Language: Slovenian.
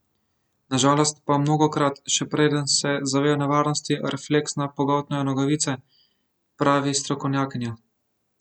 Na žalost pa mnogokrat, še preden se zavejo nevarnosti, refleksno pogoltnejo nogavice, pravi strokovnjakinja.